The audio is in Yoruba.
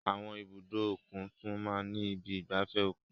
Àwọn ibùdó òkun tún máa ń ní ibi ìgbafẹ́ òkun.